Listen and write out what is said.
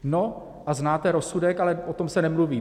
No, a znáte rozsudek, ale o tom se nemluví.